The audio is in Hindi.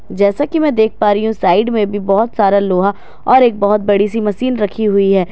जैसा कि मैं देख पा रही हूं साइड में भी बहोत सारा लोहा और एक बहोत बड़ी सी मशीन रखी हुई है।